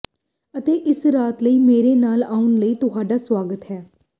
ਅਤੇ ਇਸ ਰਾਤ ਲਈ ਮੇਰੇ ਨਾਲ ਆਉਣ ਲਈ ਤੁਹਾਡਾ ਸਵਾਗਤ ਹੈ